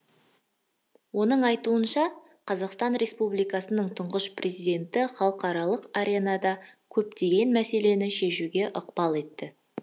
оның айтуынша қазақстан республикасының тұңғыш президенті халықаралық аренада көптеген мәселені шешуге ықпал етті